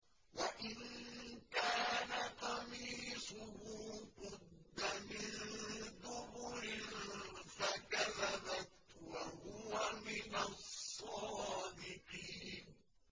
وَإِن كَانَ قَمِيصُهُ قُدَّ مِن دُبُرٍ فَكَذَبَتْ وَهُوَ مِنَ الصَّادِقِينَ